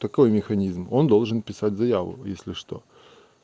какой механизм он должен писать заяву если что